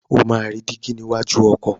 O máa rí dígí níwájú ọkọ̀.